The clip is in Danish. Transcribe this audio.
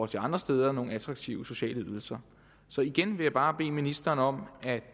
til andre steder er nogle attraktive sociale ydelser igen vil jeg bare bede ministeren om at